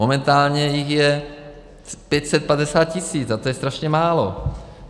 Momentálně jich je 550 tis., a to je strašně málo.